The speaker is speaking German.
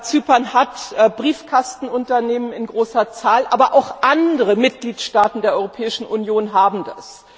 Zypern hat Briefkastenunternehmen in großer Zahl, aber auch andere Mitgliedstaaten der Europäischen Union haben das.